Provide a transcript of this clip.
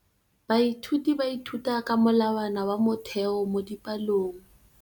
Baithuti ba ithuta ka molawana wa motheo mo dipalong.